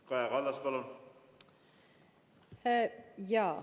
Kaja Kallas, palun!